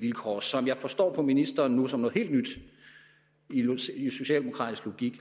vilkår som jeg nu forstår på ministeren som noget helt nyt i socialdemokratisk logik